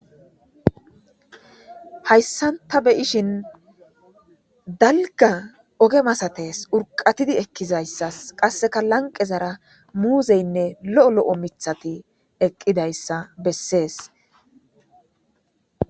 Hayssan ta be'iyishin dalgga oge masates. Urqatidi ekkiza issas qasseka lanqe zara muuzayinne lo'o lo'o mithati eqqida issa bessees.